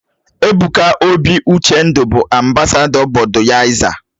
Ebuka obi-Uchendu bụ ambasadọ Bọduyaiza